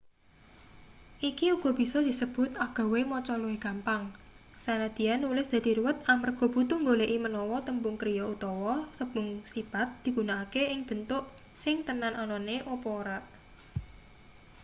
iki uga bisa disebut agawe maca luwih gampang sanadyan nulis dadi ruwet amarga butuh nggoleki menawa tembung kriya utawa tembung sipat digunakake ing bentuk sing tenan anane apa ora